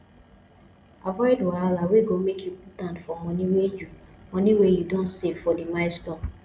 avoid wahala wey go make you put hand for money wey you money wey you don save for di milestone